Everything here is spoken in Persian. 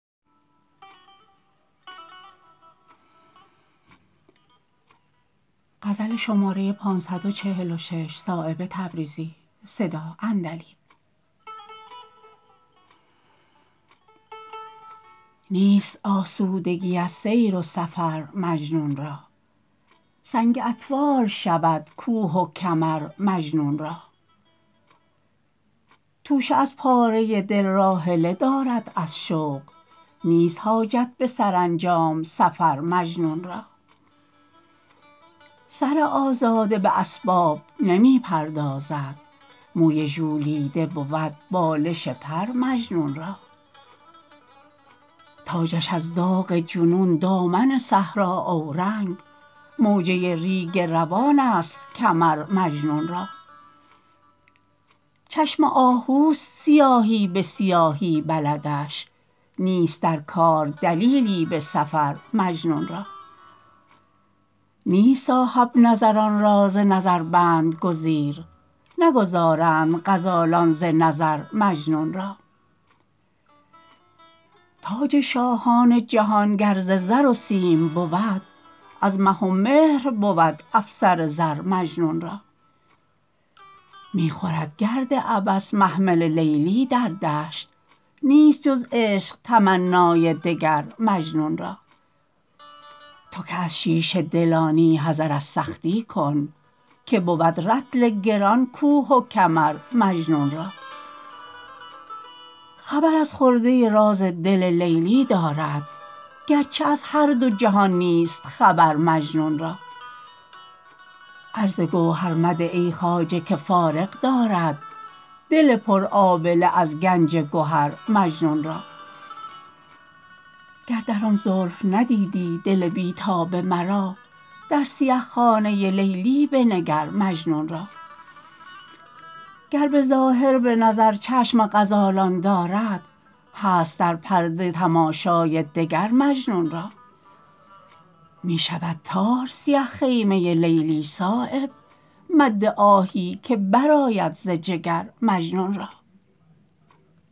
نیست آسودگی از سیر و سفر مجنون را سنگ اطفال شود کوه و کمر مجنون را توشه از پاره دل راحله دارد از شوق نیست حاجت به سرانجام سفر مجنون را سر آزاده به اسباب نمی پردازد موی ژولیده بود بالش پر مجنون را تاجش از داغ جنون دامن صحرا اورنگ موجه ریگ روان است کمر مجنون را چشم آهوست سیاهی به سیاهی بلدش نیست در کار دلیلی به سفر مجنون را نیست صاحب نظران را ز نظر بند گزیر نگذارند غزالان ز نظر مجنون را تاج شاهان جهان گر ز زر و سیم بود از مه و مهر بود افسر زر مجنون را می خورد گرد عبث محمل لیلی در دشت نیست جز عشق تمنای دگر مجنون را تو که از شیشه دلانی حذر از سختی کن که بود رطل گران کوه و کمر مجنون را خبر از خرده راز دل لیلی دارد گرچه از هر دو جهان نیست خبر مجنون را عرض گوهر مده ای خواجه که فارغ دارد دل پر آبله از گنج گهر مجنون را گر در آن زلف ندیدی دل بی تاب مرا در سیه خانه لیلی بنگر مجنون را گر به ظاهر به نظر چشم غزالان دارد هست در پرده تماشای دگر مجنون را می شود تار سیه خیمه لیلی صایب مد آهی که برآید ز جگر مجنون را